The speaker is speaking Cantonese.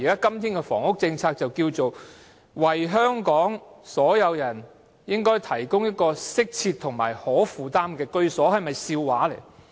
今天，當局的房屋政策是，"為香港市民提供適切及可負擔的居所"，這是否笑話呢？